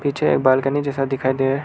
पीछे बालकनी जैसा दिखाई देरा--